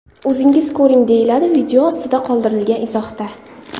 O‘zingiz ko‘ring”, deyiladi video ostida qoldirilgan izohda.